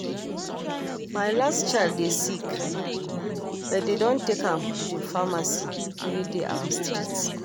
My last child dey sick but dey don take am to the pharmacy wey dey our street